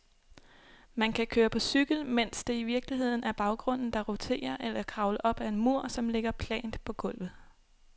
Man kan køre på cykel, mens det i virkeligheden er baggrunden, der roterer, eller kravle op ad en mur, som ligger plant på gulvet.